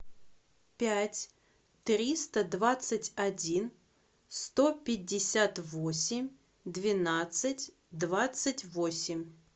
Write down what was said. пять триста двадцать один сто пятьдесят восемь двенадцать двадцать восемь